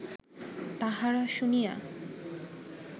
তাহারা শুনিয়া